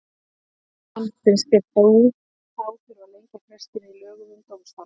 Þorbjörn Þórðarson: Finnst þér þá þurfa að lengja frestinn í lögum um dómstóla?